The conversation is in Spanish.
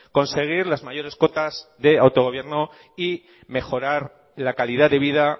conseguir las mayores cotas de autogobierno y mejorar la calidad de vida